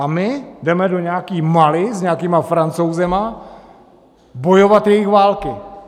A my jdeme do nějaké Mali s nějakými Francouzi bojovat jejich války.